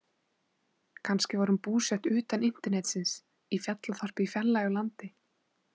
Kannski var hún búsett utan internetsins, í fjallaþorpi í fjarlægu landi.